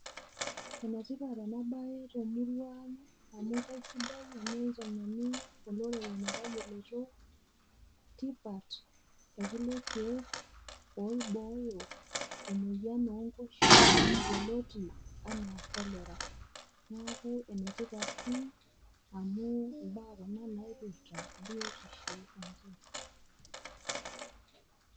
Enetipat ena baye temurua ang' amu aisidai teneiteng'eni olorere metayioloito tipat e kulo keek oibooyo emuoyian oonkoshua yoloti anaa kolera, neaku enetipat pii amu imbaa kuna napirita biotisho enche.